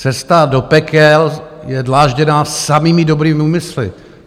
Cesta do pekel je dlážděná samými dobrými úmysly.